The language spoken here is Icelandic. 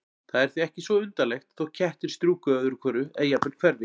Það er því ekki svo undarlegt þótt kettir strjúki öðru hvoru eða jafnvel hverfi.